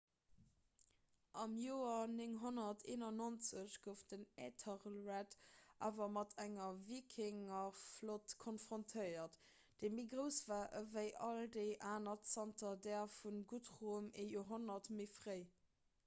am joer 991 gouf den æthelred awer mat enger wikingerflott konfrontéiert déi méi grouss war ewéi all déi aner zanter där vum guthrum ee joerhonnert méi fréi